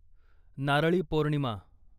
Narali Purnima